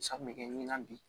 San bɛ kɛ ɲinan di